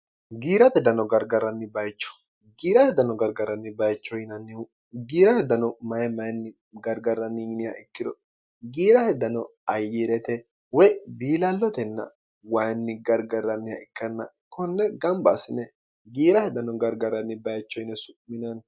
giirate dano gargarranni bayicho giirahe dano gargarranni bayicho yinannihu giirahedano maye mayinni gargarranninniha ikkiro giira he dano ayyii'rete woy biilallotenna wayinni gargarranniha ikkanna konne gamba asine giirahedano gargarranni bayicho yine su'minanni